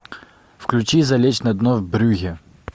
включи залечь на дно в брюгге